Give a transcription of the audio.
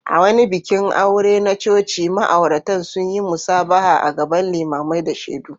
A wani bikin aure na coci, ma’auratan sun yi musabaha a gaban limamai da shaidu.